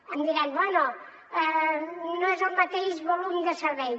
em diran bé no és el mateix volum de servei